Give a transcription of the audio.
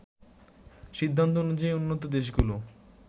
সিদ্ধান্ত অনুযায়ী উন্নত দেশগুলো